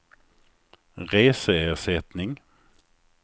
reseersättning